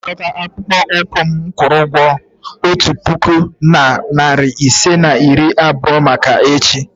M ga-anakọta akpụkpọ ụkwụ m kwụrụ otu puku na narị ise na iri abụọ maka echi.